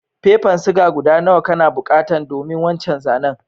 Fefan siga guda nawa kana bukatan domin wancan zanen?